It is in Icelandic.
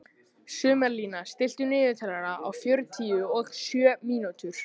Sumarlína, stilltu niðurteljara á fjörutíu og sjö mínútur.